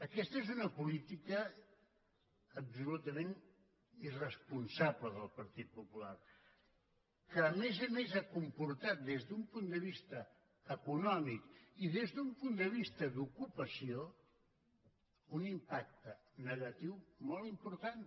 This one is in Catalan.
aquesta és una política absolutament irresponsable del partit popular que a més a més ha comportat des d’un punt de vista econòmic i des d’un punt de vista d’ocupació un impacte negatiu molt important